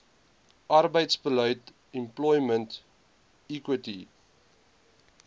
arbeidsbeleid employment equity